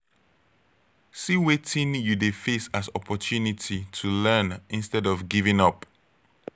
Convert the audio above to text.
see wetin you de face as opportunity to learn instead of giving up